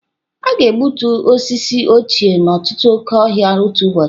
A ga-egbutu osisi ochie n'ọtụtụ oke ọhịa otu ụbọchị.